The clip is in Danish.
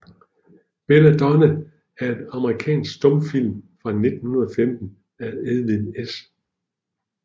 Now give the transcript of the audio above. Bella Donna er en amerikansk stumfilm fra 1915 af Edwin S